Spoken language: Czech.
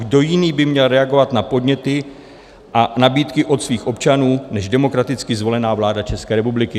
Kdo jiný by měl reagovat na podněty a nabídky od svých občanů než demokraticky zvolená vláda České republiky?